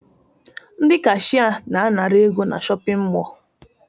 Ndị kashịye na-anara ego na shọpịn mọọ